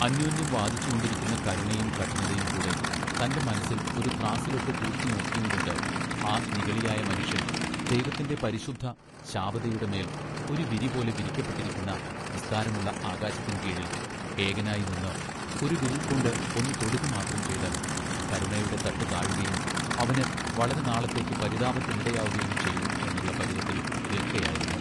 അന്യോന്യം വാദിച്ചുകൊണ്ടിരിക്കുന്ന കരുണയും കഠിനതയും കൂടെ തന്റെ മനസ്സിൽ ഒരു ത്രാസ്സിലിട്ട് തൂക്കി നോക്കിയുംകൊണ്ട് ആ നിഗളിയായ മനുഷ്യൻ ദൈവത്തിന്റെ പരിശുദ്ധ ശാബതയുടെ മേൽ ഒരു വിരി പോലെ വിരിക്കപ്പെട്ടിരിക്കുന്ന വിസ്താരമുള്ള ആകാശത്തിൻ കീഴിൽ ഏകനായി നിന്ന് ഒരു വിരൽകൊണ്ട് ഒന്നു തൊടുക മാത്രം ചെയ്താൽ കരുണയുടെ തട്ട് താഴുകയും അവന് വളരെ നാളത്തേക്കുപരിതാപത്തിനിടയാകയും ചെയ്യും എന്നുള്ള പരുവത്തിൽ നിൽക്കയായിരുന്നു.